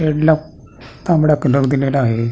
शेडला तांबडा कलर दिलेला आहे.